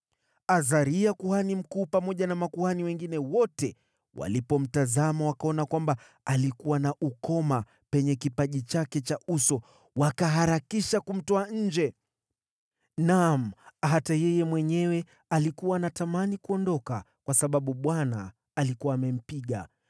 Azaria kuhani mkuu pamoja na makuhani wengine wote walipomtazama wakaona kwamba alikuwa na ukoma penye kipaji chake cha uso wakaharakisha kumtoa nje. Naam, hata yeye mwenyewe alikuwa anatamani kuondoka kwa sababu Bwana alikuwa amempiga.